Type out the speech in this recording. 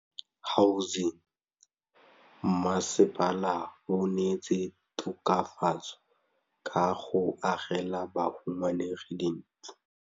Mmasepala o neetse tokafatsô ka go agela bahumanegi dintlo.